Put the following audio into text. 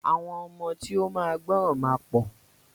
Àwọn ọmọ tí o ma gbọràn ma pọ.